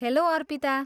Hello, Arpita.